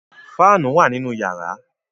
Fáànù wà nínú yàrá.